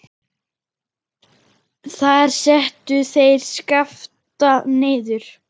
Þar settu þeir Skapta niður.